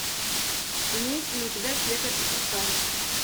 имеется ли у тебя пекарь и красавица